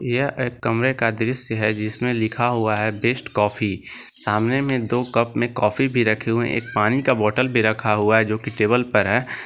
यह एक कमरे का दृश्य है जिसमें लिखा हुआ है बेस्ट कॉफी सामने में दो कप में काफी भी रखे हुए है एक पानी का बोतल भी रखा हुआ है जोकि टेबल पर है।